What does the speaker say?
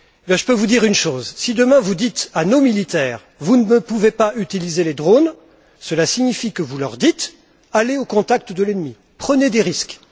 Je peux vous dire que si demain vous dites à nos militaires Vous ne pouvez pas utiliser les drones, cela signifie que vous leur dites Allez au contact de l'ennemi, prenez des risques.